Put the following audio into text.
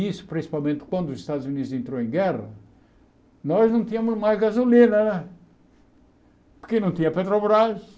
Isso principalmente quando os Estados Unidos entrou em guerra, nós não tínhamos mais gasolina né, porque não tinha Petrobras.